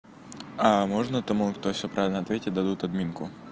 а можно тому кто всё правильно ответить дадут админку